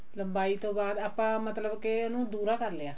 ਲੰਬਾਈ ਤੋਂ ਬਾਅਦ ਆਪਾਂ ਮਤਲਬ ਕੇ ਉਹਨੂੰ ਦੁਹਰਾ ਕਰ ਲਿਆ